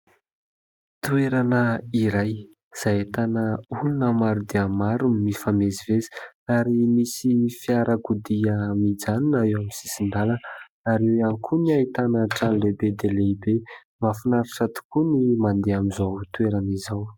Toerana iray izay ahitana olona maro dia maro mifamezivezy. Ary misy fiarakodia mijanona eo amin'ny sisin-dalana. Ary eo ihany koa ny ahitana trano lehibe dia lehibe. Mahafinaritra tokoa ny mandeha amin'izao toerana izao.